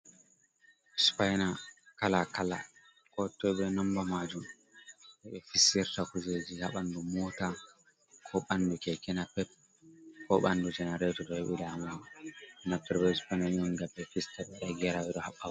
Spaina kala kala kotoi be nomba majum je ɓe fistirta kujeji ha ɓandu Mota, ko ɓandu Keke napep, ko ɓandu Janareto to heɓi damuwa naftira be Spaina on ngam ɓe fista ɓe waɗa gera ɓe ɗo haɓɓa bo.